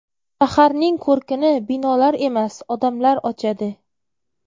Shaharning ko‘rkini binolar emas, odamlar ochadi.